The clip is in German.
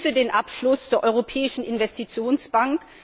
Ich begrüße den Abschluss der Europäischen Investitionsbank.